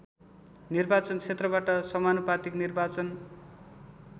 निर्वाचनक्षेत्रबाट समानुपातिक निर्वाचन